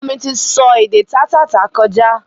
Ọmọ mi ti sọ èdè taa tá tà kọjá